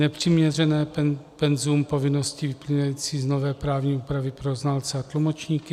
Nepřiměřené penzum povinnosti vyplývající z nové právní úpravy pro znalce a tlumočníky.